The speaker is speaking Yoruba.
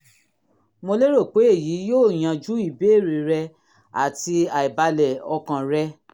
mo lérò pé èyí yóò yanjú ìbéèrè rẹ àti àìbalẹ̀ ọkàn rẹ